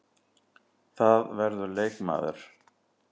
Það verður leikmaður.